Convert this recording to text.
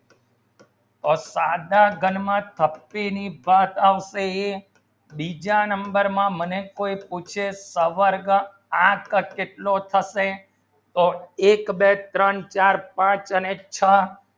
તો સાંધા ઘણ માં શક્તિ ની પાસ આવશે બીજા number માં મને કોઈ પૂછે સંપર્ક આ કેટલો થશે તો એક બે ત્રણ ચાર પાંચ અને છ